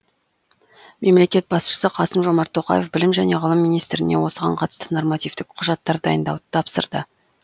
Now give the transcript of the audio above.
мемлекет басшысы қасым жомарт тоқаев білім және ғылым министріне осыған қатысты нормативтік құжаттар дайындауды тапсырды